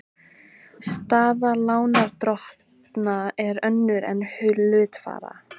Staða lánardrottna er önnur en hluthafa.